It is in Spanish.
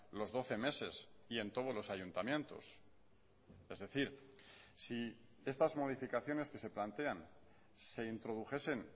los doce meses y en todos los ayuntamientos es decir si estas modificaciones que se plantean se introdujesen